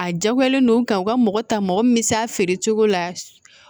A jagoyalen don ka u ka mɔgɔ ta mɔgɔ min bɛ s'a feere cogo la